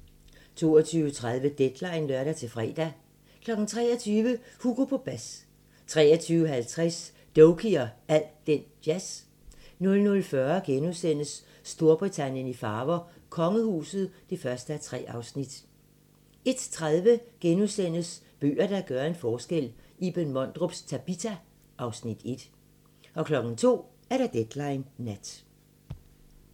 22:30: Deadline (lør-fre) 23:00: Hugo på bas 23:50: Doky og al den jazz 00:40: Storbritannien i farver: Kongehuset (1:3)* 01:30: Bøger, der gør en forskel - Iben Mondrups "Tabita" (Afs. 1)* 02:00: Deadline Nat